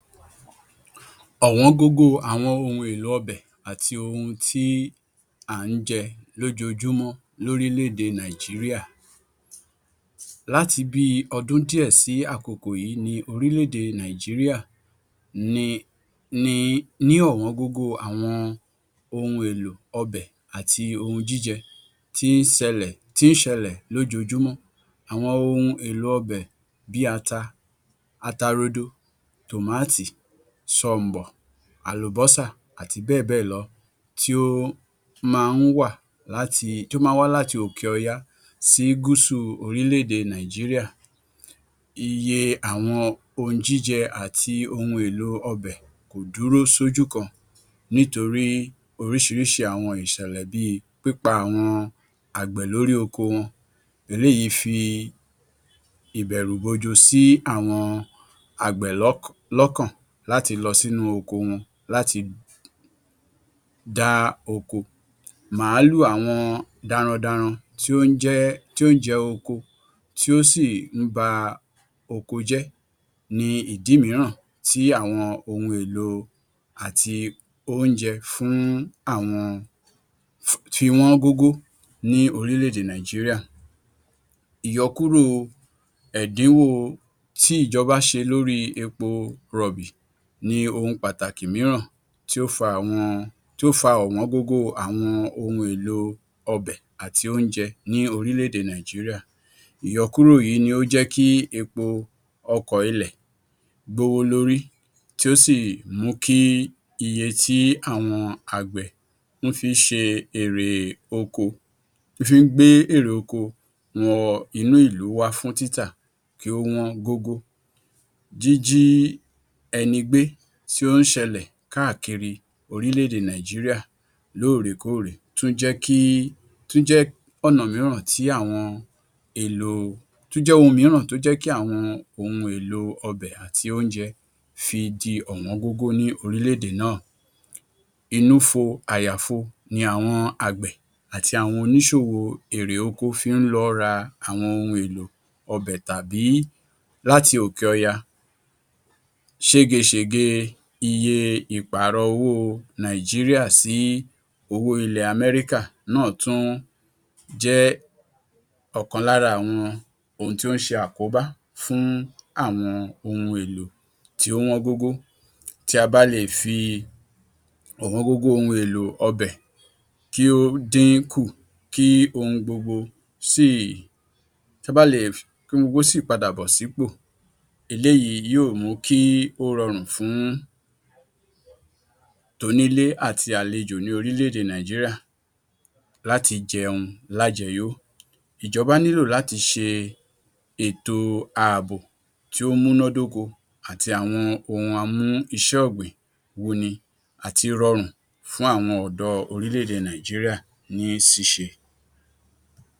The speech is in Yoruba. Ọ̀wọ́n gógó ohun èlò ọbẹ̀ àti ohun tí à ń jẹ lójoojúmọ́ lórílẹ̀-edè Nàìjíríà. Láti bí i ọdún díẹ̀ sí àkokò yìí ni orílẹ̀-èdè Nàìjíríà ti ní ọ̀wọ́n gógó àwọn ohun èlò ọbẹ̀ àti ohun jíjẹ tí ń ṣelẹ̀ lójoojúmọ́. Àwọn wọn ohun èlò ọbẹ̀ bí i ata rodo, tòmáàtì, ṣọ̀m̀bọ̀, àlùbọ́sà àti bẹ́ẹ̀ bẹ́ẹ̀ lọ tí ó máa ń wah láti Òkè Ọya sí gúsù orílẹ̀-èdè Nàìjíríà. Iye àwọn ohun jíjẹ àti ohun èlò ọbẹ̀ kò dúró sójú kan nítorí oríṣiríṣi àwọn ìṣẹ̀lẹ̀ bí i pípa àwọn àgbẹ̀ lórí oko wọn. Eléyìí fi ìbẹ̀rùbojo sí àwọn lọ́kàn láti lọ sínú oko wọn láti dá oko. Màálù àwọn darandanran tí ó ń jẹ oúnjẹ oko tí ó sì ń ba oko jẹ́ ni ìdí mìíràn tí àwọn ohun èlò àti oúnjẹ fi wọ́n gógó ní orílẹ̀-èdè Nàìjíríà. Ìyọkúrò ẹ̀dínwó tí ìjọbá ṣe lórí epo rọ̀bì ni ohun pàtàkì mìíràn tí ó fa ọ̀wọ́n gógó ohun èlò àti oúnjẹ orílẹ̀-èdè Nàìjíríà. Ìyọkúrò yìí ni ó jẹ́ kí epo ọkọ̀ ilẹ̀ gbówó lórí, tí ó sì mú kí ọkọ̀ tí àwọn àgbẹ̀ ń fi í gbé èrè oko wọ inú ìlú wá fún títà kí ó wọ́n gógó. Jíjí ẹni gbé tí ó ń ṣelẹ̀ káàkiri orílẹ̀-èdè Nàìjíríà lóòrèkóòrè tún jẹ́ ohun mìíràn tió kí àwọn ohun èlò ọbẹ̀ àti oúnjẹ fi di ọ̀wọ́n gógó ní orílẹ̀-èdè Nàìjíríà náà. Inúfo-àyàfo ni àwọn àgbẹ̀ àti oníṣòwò oko fí ń lọ ra àwọn ohun èlò ọbẹ̀ tàí láti òkẹ̀ ọya. Ṣégeṣège iye ìpààrọ̀ owó ilẹ̀ Nàìjíríà sí owó ilẹ̀ Amẹ́ríkà náà tún jẹ́ ọ̀kan lára àwọn ohun tí ó ń ṣe àkóbá fún àwọn ohun èlò tí ó wọ́n gógó. Tí a bá le è fi ọ̀wọ́n gógó ohun èlò ọbẹ̀ kí ó dínkù kí ohun gbogbo sì padàbọ̀ sípò. Eléyìí yóò mú kí ó rọrùn fún tonílé àti àlejò ní orílẹ̀-èdè Nàìjíríà láti jẹun lájẹyó. Ìjọba nílò láti ṣẹ ètò ààbò tí ó múnádókó àti àwọn ohun amú-isẹ́-ọ̀gbìn-wùnni àti rọrùn fún àwọn ọ̀dọ́ orílẹ̀-èdè Nàìjíríà ní ṣíṣe.